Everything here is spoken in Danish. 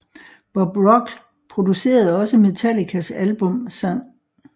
Bob Rock producerede også Metallicas album St